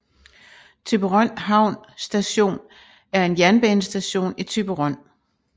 Thyborøn Havn Station er en jernbanestation i Thyborøn